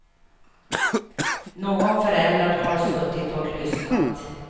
Någon förälder har suttit och lyssnat.